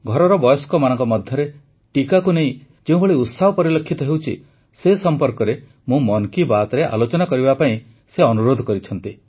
ଘରର ବୟସ୍କମାନଙ୍କ ମଧ୍ୟରେ ଟିକାକୁ ନେଇ ଯେଉଁଭଳି ଉତ୍ସାହ ପରିଲକ୍ଷିତ ହେଉଛି ସେ ସମ୍ପର୍କରେ ମୁଁ ମନ୍ କି ବାତ୍ରେ ଆଲୋଚନା କରିବା ପାଇଁ ଅନୁରୋଧ କରିଛନ୍ତି